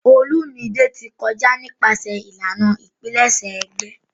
Olumide ti kọja nipasẹ ilana ipilẹṣẹ egbe.